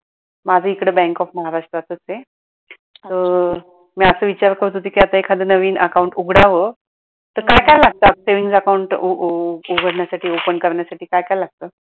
माझ इकडे bank of महाराष्ट्रातच आहे तर मी असं विचार करत होती कि आता एखाद नवीन account उघडाव. तर काय काय लागतं savings account उघडण्यासाठी open करण्यासाठी काय काय लागतं?